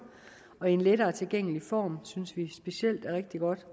og i en lettere tilgængelig form synes vi specielt er rigtig godt